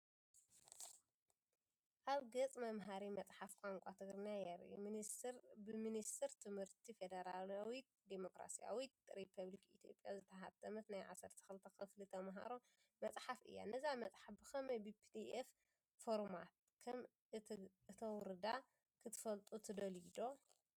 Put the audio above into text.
ኣብ ገጽ መምሃሪ መጽሓፍ ቋንቋ ትግርኛ የርኢ። ብሚኒስትሪ ትምህርቲ ፈደራላዊት ዲሞክራስያዊት ሪፓብሊክ ኢትዮጵያ ዝተሓትመት ናይ 12 ክፍሊ ተመሃሮ መጽሓፍ እያ። ነዛ መጽሓፍ ብኸመይ ብፒዲኤፍ ፎርማት ከም እተውርዳ ክትፈልጡ ትደልዩ ዶ?